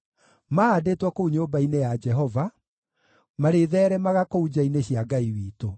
mahaandĩtwo kũu nyũmba-inĩ ya Jehova, marĩtheeremaga kũu nja-inĩ cia Ngai witũ.